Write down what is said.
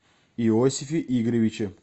иосифе игоревиче